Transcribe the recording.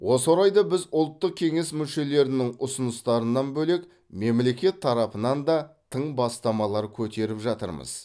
осы орайда біз ұлттық кеңес мүшелерінің ұсыныстарынан бөлек мемлекет тарапынан да тың бастамалар көтеріп жатырмыз